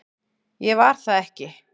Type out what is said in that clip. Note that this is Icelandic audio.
Ég var það ekki